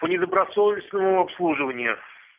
по недобросовестному обслуживанию